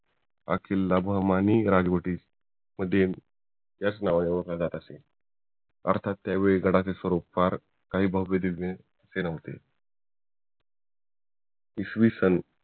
हा बहुमानी राजवटीमधील याच नावाने ओळखला जात असे अर्थात त्यावेळी गडाचे स्वरूप फार काही भव्य दिव्य ते न्हवते इसवीसन